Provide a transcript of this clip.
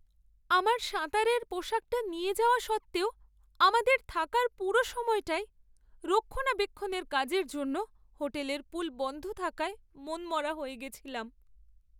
আমার সাঁতারের পোশাকটা নিয়ে যাওয়া সত্ত্বেও আমাদের থাকার পুরো সময়টাই রক্ষণাবেক্ষণের কাজের জন্য হোটেলের পুল বন্ধ থাকায় মনমরা হয়ে গেছিলাম।